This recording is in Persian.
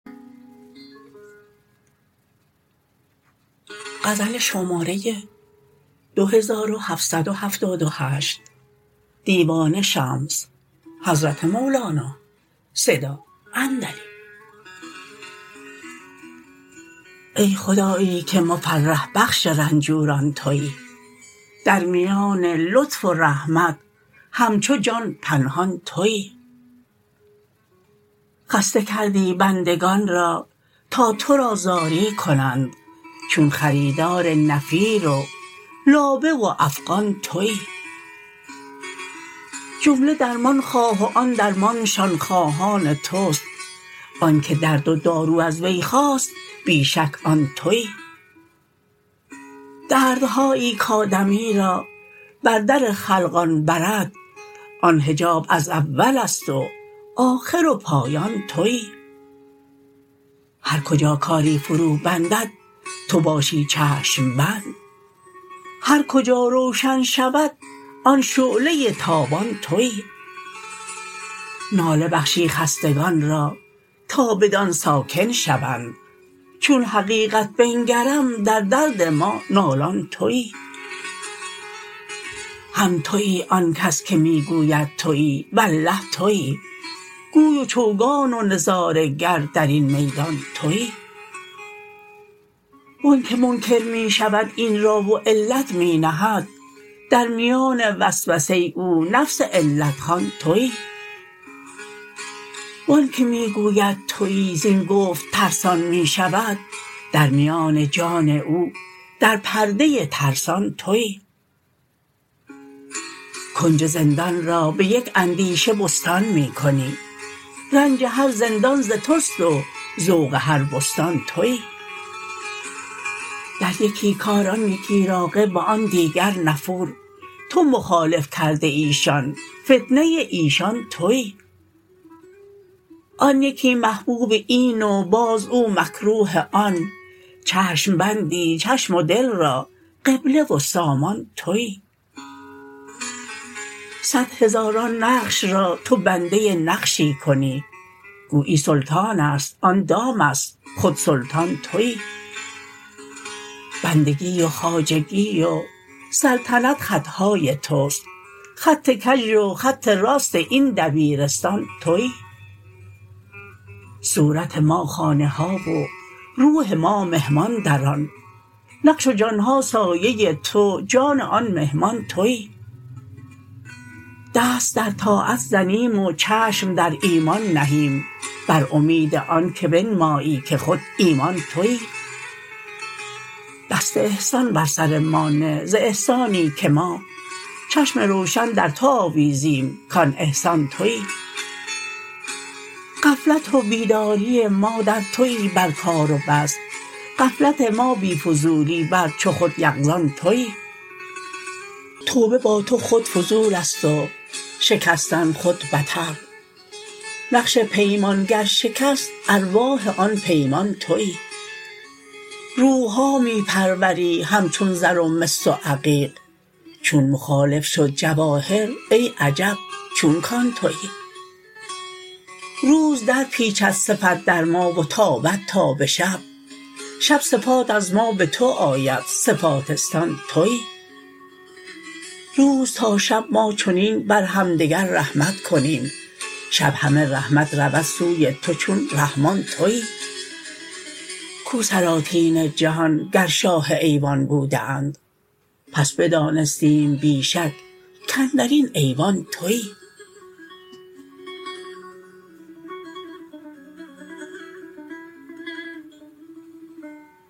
ای خدایی که مفرح بخش رنجوران توی در میان لطف و رحمت همچو جان پنهان توی خسته کردی بندگان را تا تو را زاری کنند چون خریدار نفیر و لابه و افغان توی جمله درمان خواه و آن درمانشان خواهان توست آنک درد و دارو از وی خاست بی شک آن توی دردهایی کآدمی را بر در خلقان برد آن حجاب از اول است و آخر و پایان توی هر کجا کاری فروبندد تو باشی چشم بند هر کجا روشن شود آن شعله تابان توی ناله بخشی خستگان را تا بدان ساکن شوند چون حقیقت بنگرم در درد ما نالان توی هم توی آن کس که می گوید توی والله توی گوی و چوگان و نظاره گر در این میدان توی و آنک منکر می شود این را و علت می نهد در میان وسوسه او نفس علت خوان توی و آنک می گوید توی زین گفت ترسان می شود در میان جان او در پرده ترسان توی کنج زندان را به یک اندیشه بستان می کنی رنج هر زندان ز توست و ذوق هر بستان توی در یکی کار آن یکی راغب و آن دیگر نفور تو مخالف کرده ای شان فتنه ایشان توی آن یکی محبوب این و باز او مکروه آن چشم بندی چشم و دل را قبله و سامان توی صد هزاران نقش را تو بنده نقشی کنی گویی سلطان است آن دام است خود سلطان توی بندگی و خواجگی و سلطنت خط های توست خط کژ و خط راست این دبیرستان توی صورت ما خانه ها و روح ما مهمان در آن نقش و جان ها سایه تو جان آن مهمان توی دست در طاعت زنیم و چشم در ایمان نهیم بر امید آنک بنمایی که خود ایمان توی دست احسان بر سر ما نه ز احسانی که ما چشم روشن در تو آویزیم کان احسان توی غفلت و بیداری ما در توی بر کار و بس غفلت ما بی فضولی بر چو خود یقظان توی توبه با تو خود فضول است و شکستن خود بتر نقش پیمان گر شکست ارواح آن پیمان توی روح ها می پروری همچون زر و مس و عقیق چون مخالف شد جواهر ای عجب چون کان توی روز درپیچد صفت در ما و تابد تا به شب شب صفات از ما به تو آید صفاتستان توی روز تا شب ما چنین بر همدگر رحمت کنیم شب همه رحمت رود سوی تو چون رحمان توی کو سلاطین جهان گر شاه ایوان بوده اند پس بدانستیم بی شک کاندر این ایوان توی